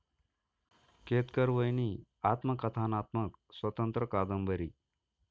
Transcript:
केतकरवहिनी आत्मकथनात्मक स्वतंत्र कादंबरी